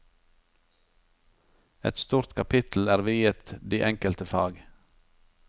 Et stort kapittel er viet de enkelte fag.